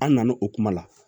An nan'o kuma la